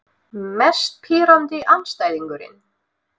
Mest pirrandi andstæðingurinn?